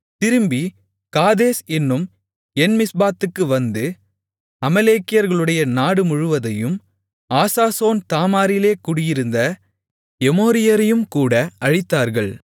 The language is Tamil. திரும்பிக் காதேஸ் என்னும் என்மிஸ்பாத்துக்கு வந்து அமலேக்கியர்களுடைய நாடு முழுவதையும் ஆசாசோன் தாமாரிலே குடியிருந்த எமோரியரையும் கூட அழித்தார்கள்